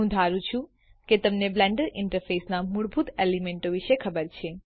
હું ધારું છું કે તમને બ્લેન્ડર ઇન્ટરફેસના મૂળભૂત એલિમેન્ટો વિષે ખબર છે